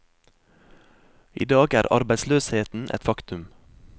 I dag er arbeidsløsheten et faktum.